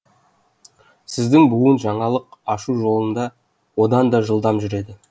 сіздің буын жаңалық ашу жолында одан да жылдам жүреді